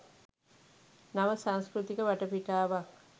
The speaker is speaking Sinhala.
නව සංස්කෘතික වටපිටාවක්